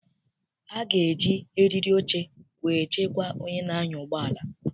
A ga-eji eriri oche wee chekwaa onye na-anya ụgbọala.